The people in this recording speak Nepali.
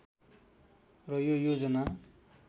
र यो योजना